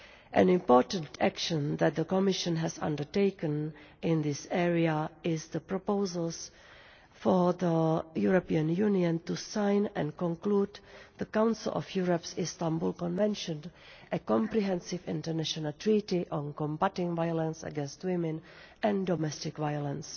An important action that the Commission has undertaken in this area is the proposals for the European Union to sign and conclude the Council of Europe's Istanbul Convention, a comprehensive international treaty on combatting violence against women and domestic violence.